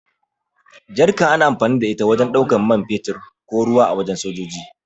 Jarka ana amfani da ita wajen ɗaukan mai fetur ko ruwa a wajen sojoji.